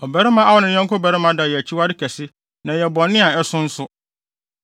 “ ‘Ɔbarima a ɔne ne yɔnko barima da yɛ akyiwade kɛse na ɛyɛ bɔne a ɛso nso.